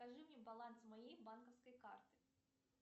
скажи мне баланс моей банковской карты